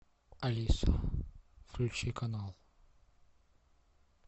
алиса включи канал